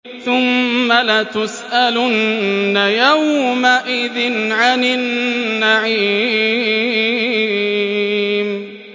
ثُمَّ لَتُسْأَلُنَّ يَوْمَئِذٍ عَنِ النَّعِيمِ